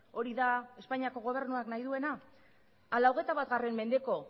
hori da espainiako gobernuak nahi duena ala hogeita bat mendeko